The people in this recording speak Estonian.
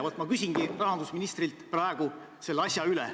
Ja ma nüüd küsingi rahandusministrilt selle asja üle.